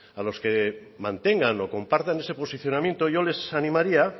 a los que mantengan o compartan ese posicionamiento yo les animaría